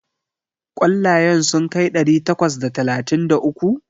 Ƙwallayen sun kai ɗari takwas da talatin da uku?